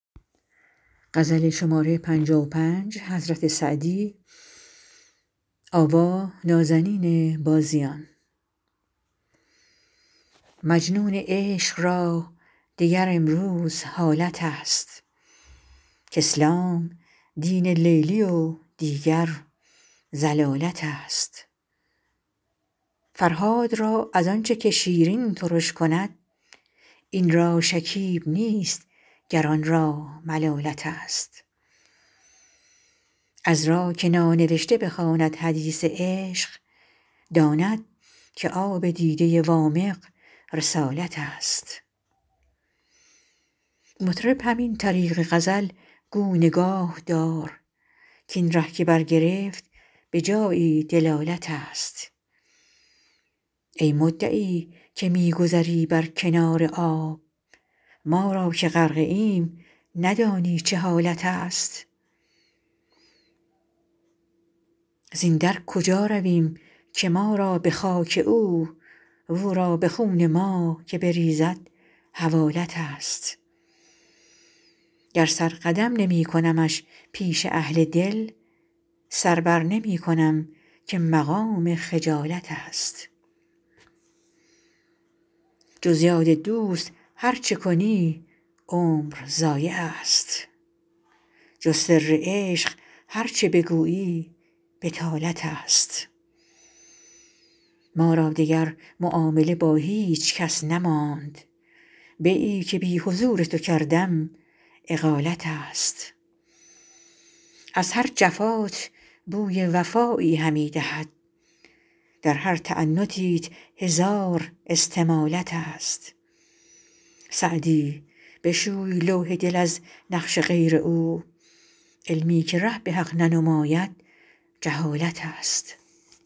مجنون عشق را دگر امروز حالت است کاسلام دین لیلی و دیگر ضلالت است فرهاد را از آن چه که شیرین ترش کند این را شکیب نیست گر آن را ملالت است عذرا که نانوشته بخواند حدیث عشق داند که آب دیده وامق رسالت است مطرب همین طریق غزل گو نگاه دار کاین ره که برگرفت به جایی دلالت است ای مدعی که می گذری بر کنار آب ما را که غرقه ایم ندانی چه حالت است زین در کجا رویم که ما را به خاک او و او را به خون ما که بریزد حوالت است گر سر قدم نمی کنمش پیش اهل دل سر بر نمی کنم که مقام خجالت است جز یاد دوست هر چه کنی عمر ضایع است جز سر عشق هر چه بگویی بطالت است ما را دگر معامله با هیچ کس نماند بیعی که بی حضور تو کردم اقالت است از هر جفات بوی وفایی همی دهد در هر تعنتیت هزار استمالت است سعدی بشوی لوح دل از نقش غیر او علمی که ره به حق ننماید جهالت است